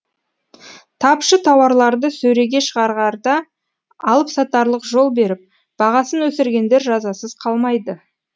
тапшы тауарларды сөреге шығарарда алыпсатарлық жол беріп бағасын өсіргендер жазасыз қалмайды